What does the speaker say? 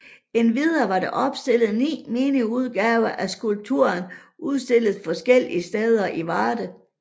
Endvidere var der opstillet 9 mini udgaver af skulpturen udstillet forskellige steder i Varde